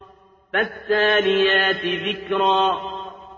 فَالتَّالِيَاتِ ذِكْرًا